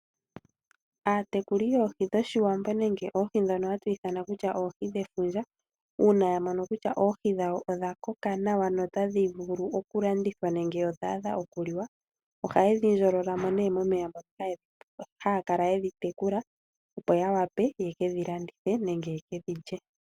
Aatekuli yoohi dhoshiwambo nenge oohi dhono hatu ithana kutya oohi dhefundja uuna yamono kutya oohi dhawo odha koka nawa notadhi vulu okulandithwa nenge odhaadha okuliwa, ohaye dhi ndjololamo nee momeya moka aya kala yedhi tekula opo yawape yekedhi landithe nenge yeke dhilye.